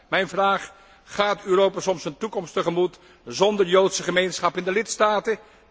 Mijn vraag gaat Europa soms een toekomst tegemoet zonder joodse gemeenschap in de lidstaten.